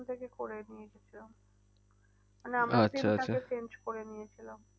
এখন থেকে করে নিয়ে গিয়েছিলাম change করে নিয়েছিলাম।